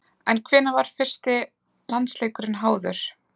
En hvenær var fyrsti landsleikurinn háður?